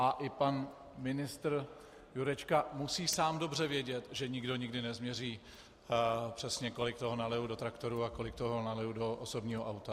A i pan ministr Jurečka musí sám dobře vědět, že nikdo nikdy nezměří přesně, kolik toho naliju do traktoru a kolik toho naliju do osobního auta.